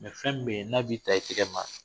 fɛn min bɛ yen n'a b'i ta i tɛgɛ ma